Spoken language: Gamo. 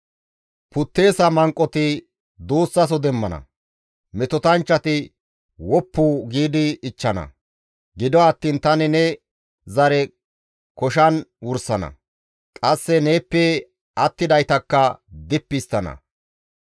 Putteesa manqoti duussaso demmana; metotanchchati woppu giidi ichchana. Gido attiin tani ne zare koshan wursana; qasse neeppe attidaytakka dippi histtana.